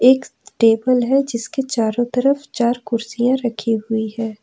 एक टेबल है जिसके चारों तरफ चार कुर्सियां रखी हुई है।